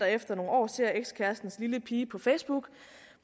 efter nogle år ser ekskærestens lille pige på facebook